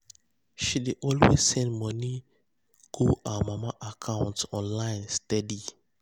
she dey always um send money go her um mama account online um steady.